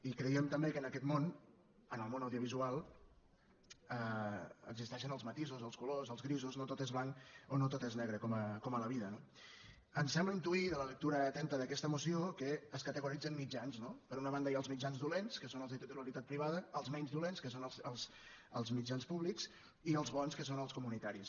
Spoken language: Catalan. i creiem també que en aquest món en el món audiovisual existeixen els matisos els colors els grisos no tot és blanc o no tot és negre com a la vida no ens sembla intuir de la lectura atenta d’aquesta moció que es categoritzen mitjans no per una banda hi ha els mitjans dolents que són els de titularitat privada els menys dolents que són els mitjans públics i els bons que són els comunitaris